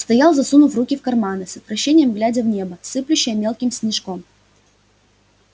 стоял засунув руки в карманы с отвращением глядя в небо сыплющее мелким снежком